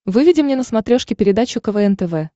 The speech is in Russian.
выведи мне на смотрешке передачу квн тв